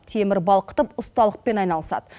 темір балқытып ұсталықпен айналысады